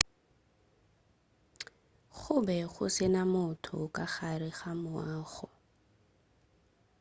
go be go se na motho ka gare ga moago